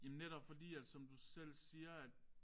Jamen netop fordi at som du selv siger at